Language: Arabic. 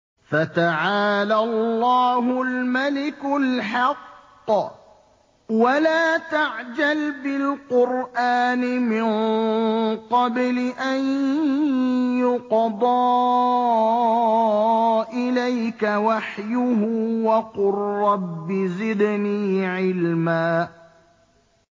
فَتَعَالَى اللَّهُ الْمَلِكُ الْحَقُّ ۗ وَلَا تَعْجَلْ بِالْقُرْآنِ مِن قَبْلِ أَن يُقْضَىٰ إِلَيْكَ وَحْيُهُ ۖ وَقُل رَّبِّ زِدْنِي عِلْمًا